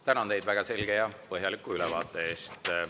Tänan teid väga selge ja põhjaliku ülevaate eest.